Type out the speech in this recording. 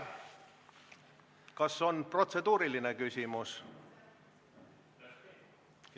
Kas on protseduuriline küsimus?